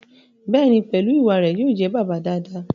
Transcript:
Bẹ́ẹ̀ni, pẹ̀lú ìwà rẹ̀, yóò jẹ́ bàbá dáadáa